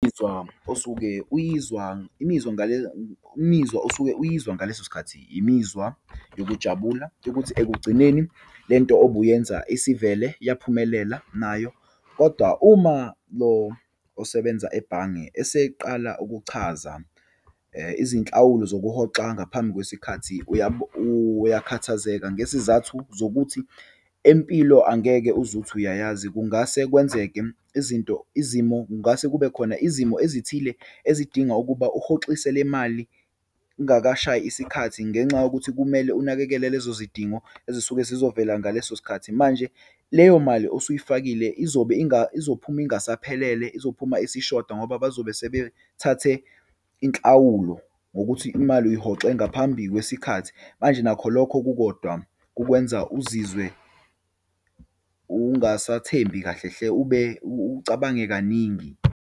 Imizwa osuke uyizwa, imizwa ngale imizwa osuke uyizwa ngaleso sikhathi imizwa yokujabula yokuthi ekugcineni lento obuyenza isivele yaphumelela nayo. Kodwa uma lo osebenza ebhange eseqala ukuchaza izinhlawulo zokuhoxa ngaphambi kwesikhathi, uyakhathazeka ngesizathu zokuthi, empilo angeke uzuthi uyayazi. Kungase kwenzeke izinto, izimo, kungase kube khona izimo ezithile ezidinga ukuba uhoxise le mali kungakashayi isikhathi, ngenxa yokuthi kumele unakekele lezo zidingo ezisuke zizovela ngaleso sikhathi. Manje leyo mali osuyifakile izobe izophuma ingasaphelele, izophuma isishoda ngoba bazobe sebethathe inhlawulo ngokuthi imali uyihoxe ngaphambi kwesikhathi. Manje nakho lokho kukodwa kukwenza uzizwe ungasathembi kahle hle ube ucabange kaningi.